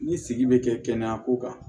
Ni sigi bɛ kɛ kɛnɛyako kan